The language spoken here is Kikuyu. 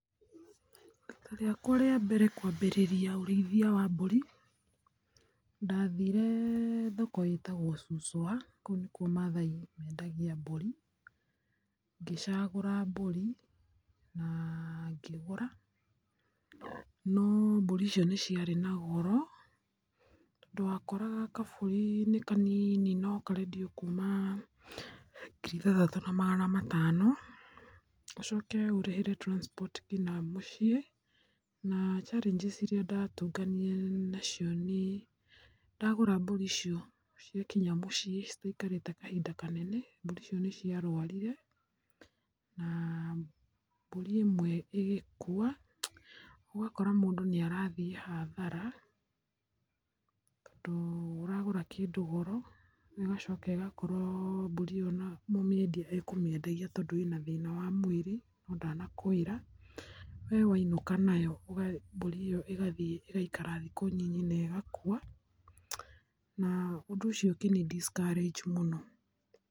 Rita rĩakwa rĩa mbere kũambĩrĩria ũrĩithia wa mbũri ndathire thoko ĩtagwo Suswa kũu nĩkuo Maathai mendagia mbũri, ngĩcagũra mbũri na ngĩgũra no mbũri icio nĩ ciarĩ na goro. Tondũ wa koraga kabũri nĩ kanini no karendio kuuma ngiri ithathatũ na magana matano. Ũcoke ũrĩhĩre transport nginya mũciĩ na challenges irĩa ndatũnganire nacio nĩ ndagũra mbũri icio ciakinya mũciĩ citiaikarire ta kahinda kanene, mbũri icio nĩ ciarũarire na mbũri ĩmwe ĩgĩkua. Ũgakora mũndũ nĩ arathiĩ hathara tondũ ũragũra kĩndũ goro ũgacoka ũgakora mbũri ĩyo mũmĩendia ekũmĩendagia tondũ ĩna thĩna wa mwĩrĩ no ndanakwĩra. We wainũka nayo mbũri ĩyo ĩgathiĩ ĩgaikara thikũ nyinyi na ĩgakua, na ũndũ ũcio ũkĩ ni discourage mũno.